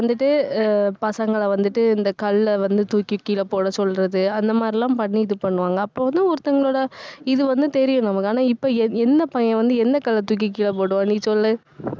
வந்துட்டு அஹ் பசங்களை வந்துட்டு இந்தக் கல்லை வந்து தூக்கி கீழே போடச் சொல்றது, அந்த மாதிரி எல்லாம் பண்ணி இது பண்ணுவாங்க. அப்போ வந்து ஒருத்தங்களோட இது வந்து தெரியும் நமக்கு. ஆனா இப்போ என்~ என்ன பையன் வந்து எந்த கல்ல தூக்கி கீழே போடுவான் நீ சொல்லு